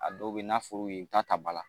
A dɔw be yen n'a fɔr'u ye i bi taa ta bala